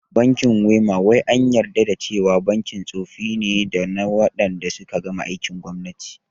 Bankin WEMA wai an yarda da cewa bankin tsofi ne dana wanda suka gama aikin gwamnati